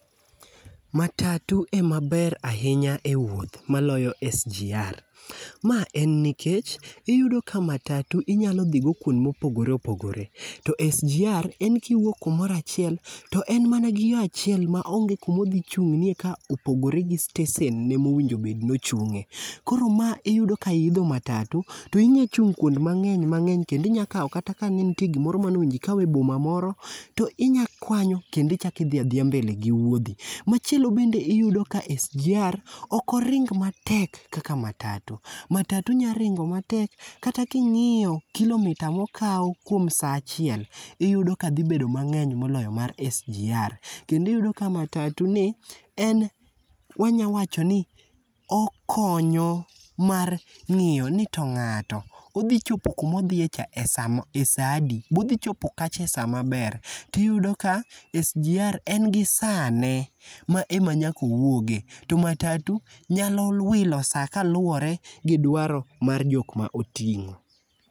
Matatu ema ber ahinya e wuoth maloyo SGR. Ma en nikech, iyudo ka matatu, inyalo dhi go kuonde mopogore opogore. To SGR, en kiwuok kumoro achiel, to en mana gi yo achiel, ma onge kuma odhi chung'nie kopogore gi stesen ne ma owinjo bed ni ochungé. Koro ma iyudo ka iidho matatu, inyachung' kuond mangény mangény kendo inyalo kawo kata ka ne ntie gima ne owinjo ikaw e boma moro, to inyakwanyo, kendo ichak idhi a dhiya mbel gi wuodhi. Machielo kendo, iyudo ka SGR, ok oring matek, kaka matatu. Matatu nyalo ringo matek kata kingíyo kilometre mokao kuom saa achiel, iyudo ka dhi bedo mangény moloyo mar SGR. Kendo iyudo ka matatuni, en wanya wachoni, okonyo mar ngíyoni to ngáto odhichopo kuma odhie cha e samo, e saa adi? be odhi chopo kacha e saa maber? To iyudo ka SGR, en gi sane ma ema nyaka owuoge. To matatu nyalo wilo saa, kaluwore gi dwaro ma jok ma otingó.